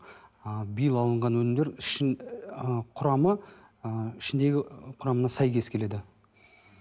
ы биыл алынған өнімдер ы құрамы ы ішіндегі құрамына сәйкес келеді